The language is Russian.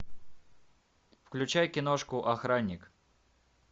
включай киношку охранник